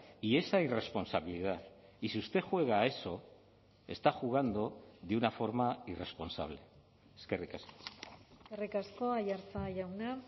y esa irresponsabilidad y si usted juega a eso está jugando de una forma irresponsable eskerrik asko eskerrik asko aiartza jauna